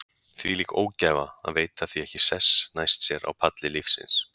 Þvílík ógæfa að veita því ekki sess næst sér á palli lífsins.